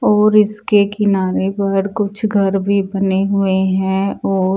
और इसके किनारे घर कुछ घर भी बने हुए हैं और--